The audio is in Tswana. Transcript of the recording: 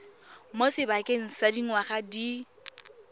mo sebakeng sa dingwaga di